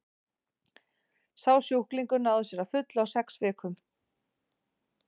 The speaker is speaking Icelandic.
sá sjúklingur náði sér að fullu á sex vikum